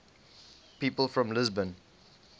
people from lisbon